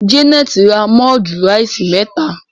Janet rà mudu rice meta.